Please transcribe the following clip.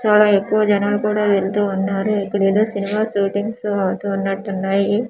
చాలా ఎక్కువ జనాలు కూడా వెళ్తూ ఉన్నారు ఇక్కడ ఏదో సినిమా షూటింగ్స్ అవుతూ ఉన్నట్టు ఉన్నాయి.